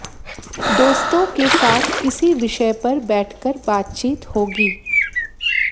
दोस्तों के साथ किसी विषय पर बैठकर बातचीत होगी